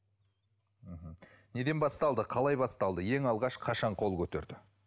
мхм неден басталды қалай басталды ең алғаш қашан қол көтерді